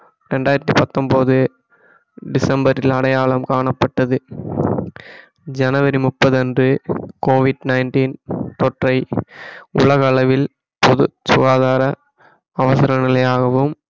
இரண்டாயிரத்தி பத்தொன்பது டிசம்பரில் அடையாளம் காணப்பட்டது ஜனவரி முப்பது அன்று COVID-19 தொற்றை உலக அளவில் பொது சுகாதார அவசர நிலையாகவும்